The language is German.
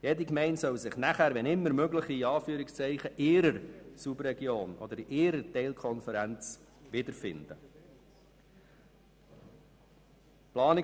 Jede Gemeinde soll sich danach, wenn immer möglich, in ihrer Subregion oder ihrer Teilkonferenz wiederfinden können.